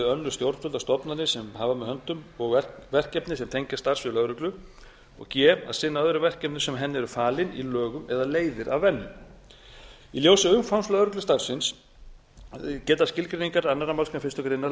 önnur stjórnvöld og stofnanir sem hafa með höndum verkefni sem tengjast starfssviði lögreglu g að sinna öðrum verkefnum sem henni eru falin í lögum eða leiðir af venju í ljósi umfangs lögreglustarfsins geta skilgreiningar annarri málsgrein fyrstu greinar